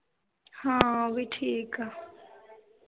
ਹਾਂ ਉਹ ਵੀ ਠੀਕ ਆ